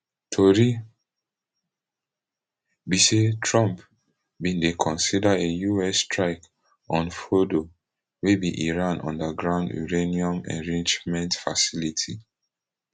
tori be say trump bin dey consider a us strike on fordo wey be iran underground uranium enrichment facility